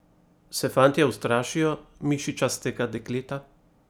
Se fantje ustrašijo mišičastega dekleta?